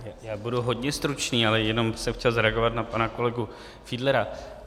Já budu hodně stručný, ale jenom jsem chtěl zareagovat na pana kolegu Fiedlera.